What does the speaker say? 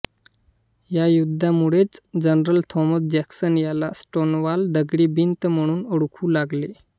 या युद्धामुळेच general Thomas Jackson याला स्टोनवॉल दगडी भिंत म्हणून ओळखू लागले